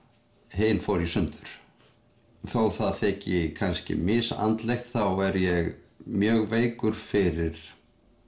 hin fór í sundur þó það þyki kannski misandlegt þá er ég mjög veikur fyrir